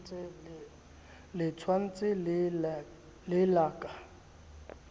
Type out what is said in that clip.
le tshwantshe le la ka